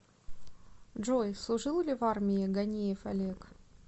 джой служил ли в армии ганеев олег